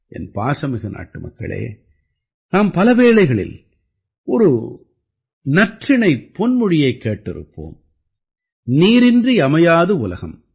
என் பாசமிகு நாட்டுமக்களே நாம் பலவேளைகளில் ஒரு நற்றிணைப் பொன்மொழியைக் கேட்டிருப்போம் நீரின்றி அமையாது உலகம்